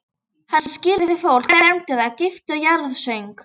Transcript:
Hann skírði fólk, fermdi það, gifti og jarðsöng.